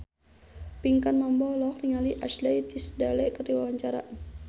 Pinkan Mambo olohok ningali Ashley Tisdale keur diwawancara